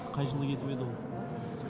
қай жылы кетіп еді ол